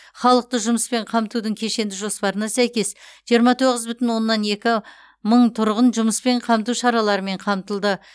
халықты жұмыспен қамтудың кешенді жоспарына сәйкес жиырма тоғыз бүтін оннан екі мың тұрғын жұмыспен қамту шараларымен қамтылды